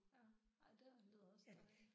Ja ej det lyder også dejligt